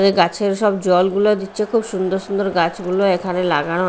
এ গাছের সব জলগুলো দিচ্ছে খুব সুন্দর সুন্দর গাছগুলো এখানে লাগানো।